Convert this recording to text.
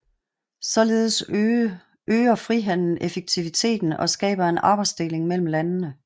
Således øger frihandelen effektiviteten og skaber en arbejdsdeling mellem landene